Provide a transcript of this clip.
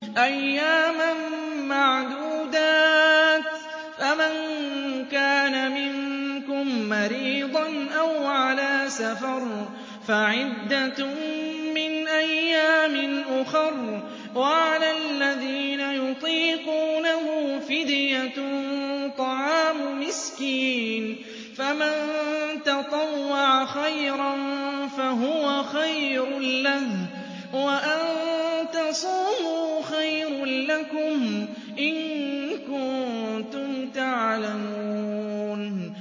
أَيَّامًا مَّعْدُودَاتٍ ۚ فَمَن كَانَ مِنكُم مَّرِيضًا أَوْ عَلَىٰ سَفَرٍ فَعِدَّةٌ مِّنْ أَيَّامٍ أُخَرَ ۚ وَعَلَى الَّذِينَ يُطِيقُونَهُ فِدْيَةٌ طَعَامُ مِسْكِينٍ ۖ فَمَن تَطَوَّعَ خَيْرًا فَهُوَ خَيْرٌ لَّهُ ۚ وَأَن تَصُومُوا خَيْرٌ لَّكُمْ ۖ إِن كُنتُمْ تَعْلَمُونَ